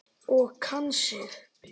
Og kann sig.